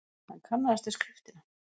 Hann kannaðist við skriftina.